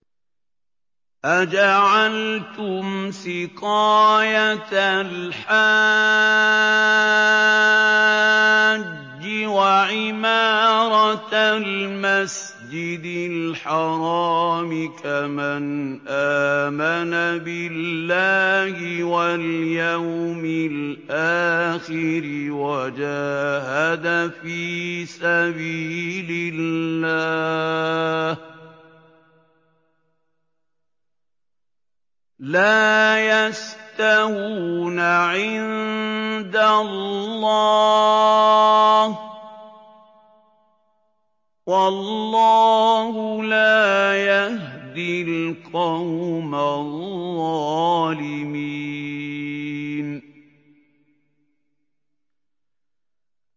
۞ أَجَعَلْتُمْ سِقَايَةَ الْحَاجِّ وَعِمَارَةَ الْمَسْجِدِ الْحَرَامِ كَمَنْ آمَنَ بِاللَّهِ وَالْيَوْمِ الْآخِرِ وَجَاهَدَ فِي سَبِيلِ اللَّهِ ۚ لَا يَسْتَوُونَ عِندَ اللَّهِ ۗ وَاللَّهُ لَا يَهْدِي الْقَوْمَ الظَّالِمِينَ